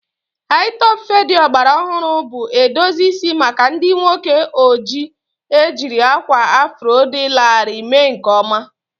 Hi-topụ fedi ọgbara ọhụrụ bụ edozi isi maka ndị nwoke ojii ejiri akwa afro dị larịị mee nke ọma